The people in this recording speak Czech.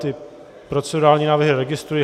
Ty procedurální návrhy registruji.